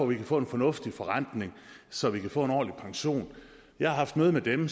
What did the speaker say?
vi kan få en fornuftig forrentning så vi kan få en ordentlig pension jeg har haft møde med dem